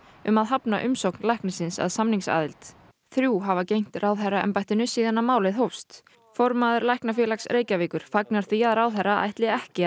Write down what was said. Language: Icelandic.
um að hafna umsókn læknisins að samningsaðild þrjú hafa gegnt ráðherraembættinu síðan málið hófst formaður læknafélags Reykjavíkur fagnar því að ráðherra ætli ekki